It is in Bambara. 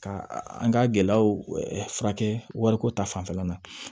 Ka an ka gɛlɛyaw furakɛ wariko ta fanfɛla la